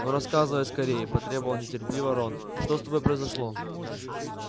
ну рассказывай скорее потребовал нетерпеливо рон что с тобой произошло